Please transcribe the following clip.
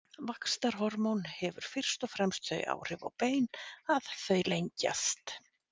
vaxtarhormón hefur fyrst og fremst þau áhrif á bein að þau lengjast